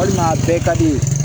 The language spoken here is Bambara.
Walima a bɛɛ ka di ye